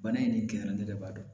Bana in ni kɛyan ne yɛrɛ b'a dɔn